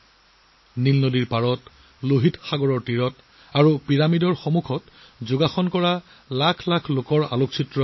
নীল নদীৰ পাৰত আৰু পিৰামিডৰ সন্মুখত ৰঙা সাগৰৰ উপকূলত লাখ লাখ ছবি অতি জনপ্ৰিয় হৈ পৰিছিল